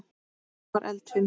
Er hún afar eldfim?